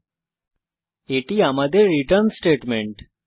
এবং এটি আমাদের রিটার্ন স্টেটমেন্ট